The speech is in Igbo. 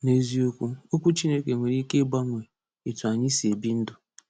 N’eziokwu, okwu Chineke nwere ike ịgbanwe etu anyị si ebi ndụ.